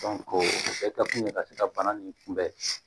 o kɛta kun ye ka se ka bana nin kunbɛn